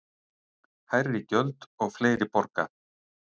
Hærri gjöld og fleiri borga